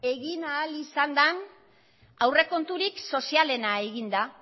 egin ahal izan den aurrekonturik sozialena egin da